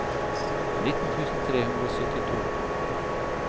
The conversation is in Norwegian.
nitten tusen tre hundre og syttito